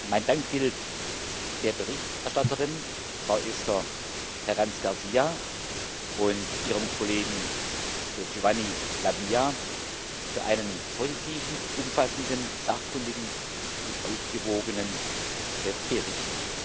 Mein Dank gilt der Berichterstatterin, Frau Esther Herranz García, und Ihrem Kollegen Giovanni La Via für einen positiven, umfassenden, sachkundigen und ausgewogenen Bericht.